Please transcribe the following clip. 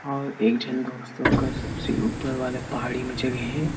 और एक झन दोस्त ओकर सबसे ऊपर वाले पहाड़ी म चघे हे ।